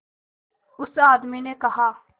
उस आदमी ने कहा